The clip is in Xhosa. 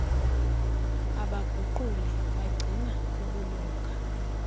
abaguquli bagcina ubulunga